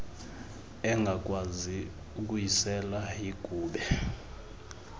engakwazi ukuyisela yigube